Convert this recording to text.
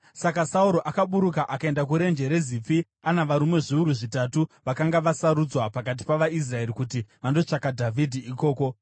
Saka Sauro akaburuka akaenda kuRenje reZifi, ana varume zviuru zvitatu vakanga vasarudzwa pakati pavaIsraeri, kuti vandotsvaka Dhavhidhi ikoko.